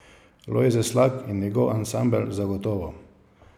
Lojze Slak in njegov ansambel zagotovo.